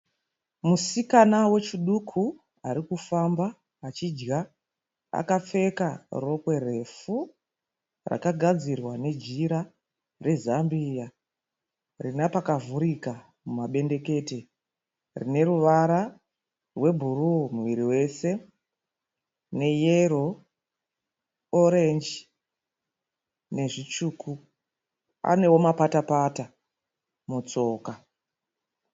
Musikana wechiduku arikufamba achidya. Akapfeka rokwe refu rakagadzirwa nejira rezambia rinapakavhurika mumabendekete rineruvara rwebhuruu muviri wese neyero, orenji nezvitsvuku. Anewo mapatapata mutsoka.